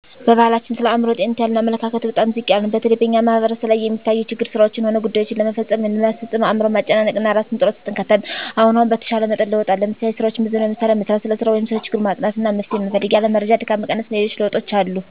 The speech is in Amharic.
በባሕላችን ስለ አእምሮ ጤንነት ያለን አመለካከት በጣም ዝቅ ያለ ነው። በተለይ በእኛ ማሕበረሰብ ላይ የሚታየው ችግር ስራዎችንም ሆነ ጉዳይዎችን ለመፈፀም ወይም ለማስፈፀም አእምሮን ማጨናነቅ እና እራስን ውጥረት ውስጥ እንከታለን። አሁን አሁን በተሻለ መጠን ለውጥ አለ። ለምሳሌ፦ ስራዎችን በዘመናዊ መሣሪያ መሥራት፣ ስለ ሰራው ወይም ሰለ ችግሩ ማጥናት አና መፍትሔ መፈለግ፣ ያለ መረጃ ድካምን መቀነስ አና ሌሎችም ለውጦች አሉ።